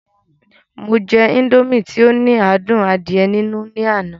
Mo jẹ indomie tí ó ní adùn adíẹ nínú ní àná